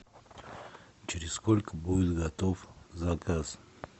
через сколько будет готов заказ